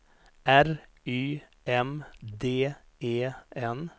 R Y M D E N